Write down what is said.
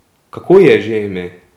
Kako ji je že ime?